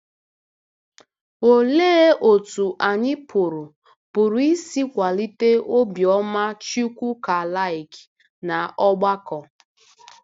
Olee otú anyị pụrụ pụrụ isi kwalite obiọma Chukwukalike n'ọgbakọ?